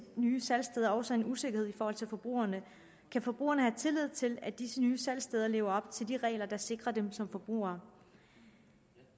nye salgssteder også en usikkerhed i forhold til forbrugerne kan forbrugerne have tillid til at disse nye salgssteder lever op til de regler der sikrer dem som forbrugere